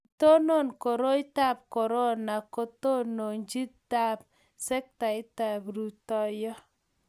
Kiitonon koroitab korona katononchinetab sektaitab rutoiyo